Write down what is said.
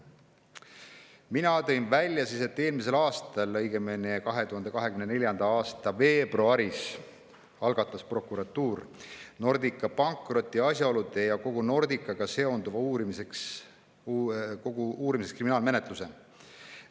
Mina tõin välja, et eelmisel aastal, õigemini 2024. aasta veebruaris algatas prokuratuur Nordica pankroti asjaolude ja kogu Nordicaga seonduva uurimiseks kriminaalmenetluse.